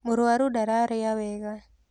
Mũrũaru ndararĩa wega.